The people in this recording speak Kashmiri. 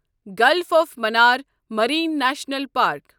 golf of Mannar marine national park